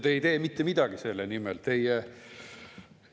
Te ei tee mitte midagi selle nimel.